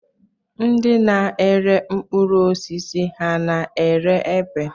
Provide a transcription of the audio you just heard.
Ndị na-ere mkpụrụosisi ha na-ere epe?